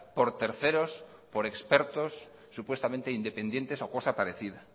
por terceros por expertos supuestamente independientes o cosa parecida